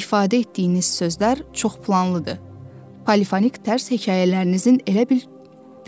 İfadə etdiyiniz sözlər çox planlıdır, polifonik tərs hekayələrinizin elə bil